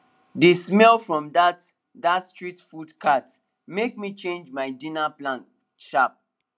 the smell from that that street food cart make me change my dinner plan sharp